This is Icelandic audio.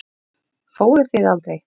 Fóruð þið aldrei?